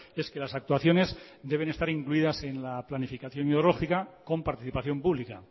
es que las actuaciones deben estar incluidas en la planificación hidrológica con participación pública